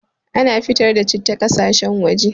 Ana fitar da citta ƙasashen waje